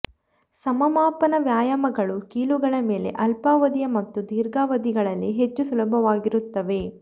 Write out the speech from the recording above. ಸಮಮಾಪನ ವ್ಯಾಯಾಮಗಳು ಕೀಲುಗಳ ಮೇಲೆ ಅಲ್ಪಾವಧಿಯ ಮತ್ತು ದೀರ್ಘಾವಧಿಗಳಲ್ಲಿ ಹೆಚ್ಚು ಸುಲಭವಾಗಿರುತ್ತವೆ